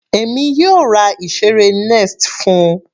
Èmi yóò ra ìseré nest fún-un.